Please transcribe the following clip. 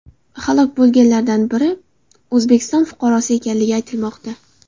Halok bo‘lganlardan biri O‘zbekiston fuqarosi ekanligi aytilmoqda .